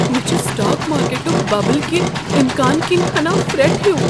مےٚ چھ سٹاک مارکیٹک ببل کہِ امکان كِنہِ ہنا فرتھ ہِیوٗ ۔